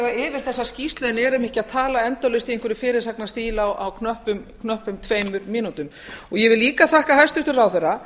yfir þessa skýrslu en erum ekki að tala endalaust í einhverjum fyrirsagnastíl á knöppum tveimur mínútum ég vil líka þakka hæstvirtum ráðherra